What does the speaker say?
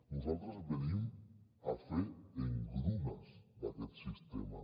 nosaltres venim a fer engrunes d’aquest sistema